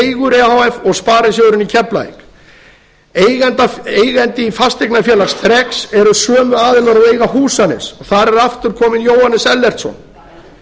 e h f og sparisjóðurinn í keflavík eigandi fasteignafélags þreks eru sömu aðilar og eiga húsanes þar er aftur kominn jóhannes ellertsson